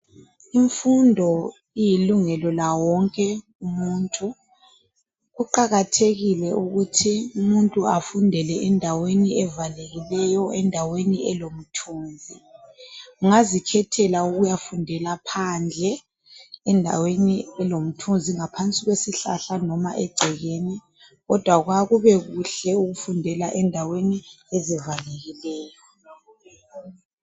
Imfundo ililungelo lawo wonke umuntu ukuqakathekile ukuthi umuntu afundele endaweni evalekileyo endaweni elomthunzi ungazikhethela ukuyafundela phandle endaweni elomthunzi ngaphansi kwesihlahla noma egcekeni kodwa kwakubekuhle ukuyafundela egcekeni.